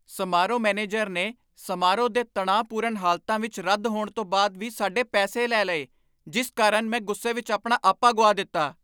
ਸਮਾਰੋਹ ਮੈਨੇਜਰ ਨੇ ਸਮਾਰੋਹ ਦੇ ਤਣਾਅਪੂਰਨ ਹਾਲਤਾਂ ਵਿੱਚ ਰੱਦ ਹੋਣ ਤੋਂ ਬਾਅਦ ਵੀ ਸਾਡੇ ਪੈਸੇ ਲੈ ਲਏ ਜਿਸ ਕਾਰਨ ਮੈਂ ਗੁੱਸੇ ਵਿਚ ਆਪਣਾ ਆਪਾ ਗੁਆ ਦਿੱਤਾ।